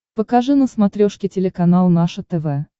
покажи на смотрешке телеканал наше тв